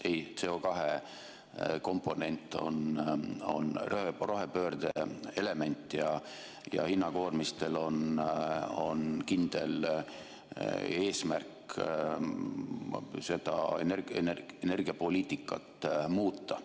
Ei, CO2 komponent on rohepöörde element ja hinnakoormistel on kindel eesmärk, et seda energiapoliitikat muuta.